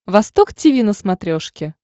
восток тиви на смотрешке